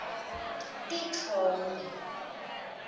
titfombe